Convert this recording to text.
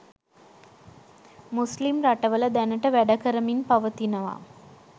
මුස්ලිම් රටවල දැනට වැඩකරමින් පවතිනවා